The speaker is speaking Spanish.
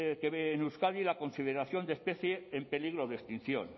que ver en euskadi la consideración de especie en peligro de extinción no